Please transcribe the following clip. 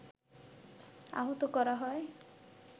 আহত করা হয়